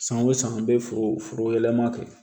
San o san an bɛ foro foro yɛlɛma kɛ